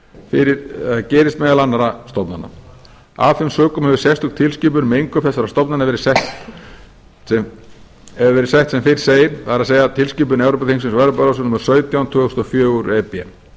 stofnana en gerist meðal annarra stofnana af þeim sökum hefur sérstök tilskipun um innkaup þessara stofnana verið sett sem fyrr segir það er tilskipun evrópuþingsins og evrópuráðsins númer sautján tvö þúsund og fjögur e b